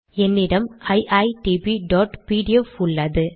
என்னிடம் iitbபிடிஎஃப் உள்ளது